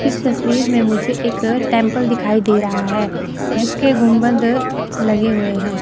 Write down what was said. इस तस्वीर में मुझे एक टेंपल दिखाई दे रहा है जिसके गुंबद लगे हुए है।